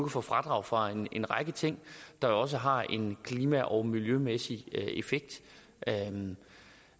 få fradrag for en række ting der også har en klima og miljømæssig effekt